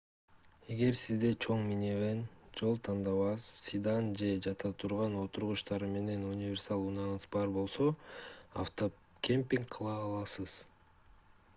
эгер сизде чоң минивэн жол тандабас седан же жата турган отургучтары менен универсал унааңыз бар болсо автокемпинг кыла аласыз